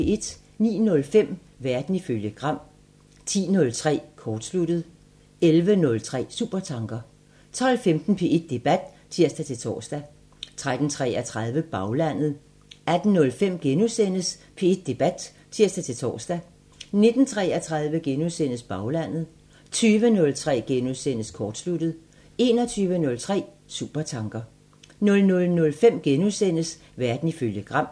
09:05: Verden ifølge Gram 10:03: Kortsluttet 11:03: Supertanker 12:15: P1 Debat (tir-tor) 13:33: Baglandet 18:05: P1 Debat *(tir-tor) 19:33: Baglandet * 20:03: Kortsluttet * 21:03: Supertanker 00:05: Verden ifølge Gram *